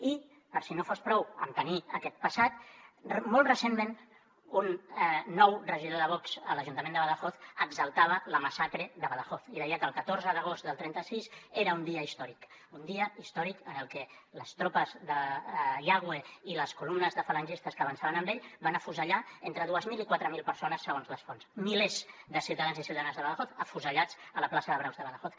i per si no n’hi hagués prou de tenir aquest passat molt recentment un nou regidor de vox a l’ajuntament de badajoz exaltava la massacre de badajoz i deia que el catorze d’agost del trenta sis era un dia històric un dia històric en el que les tropes de yagüe i les columnes de falangistes que avançaven amb ell van afusellar entre dues mil i quatre mil persones segons les fonts milers de ciutadans i ciutadanes de badajoz afusellats a la plaça de braus de badajoz